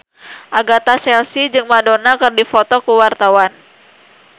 Agatha Chelsea jeung Madonna keur dipoto ku wartawan